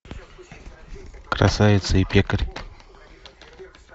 красавица и пекарь